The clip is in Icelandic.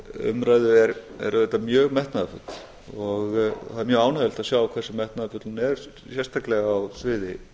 þessari umræðu er auðvitað mjög metnaðarfull og það er mjög ánægjulegt að sjá hversu metnaðarfull hún er sérstaklega á sviði